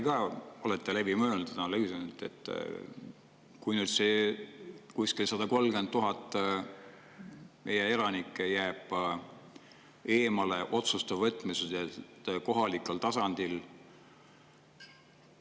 Kas te olete läbi mõelnud ja analüüsinud, millised on tagajärjed, kui nüüd kuskil 130 000 elanikku jääb eemale otsuste võtmisest kohalikul tasandil?